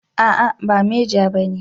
A'a ba meja bane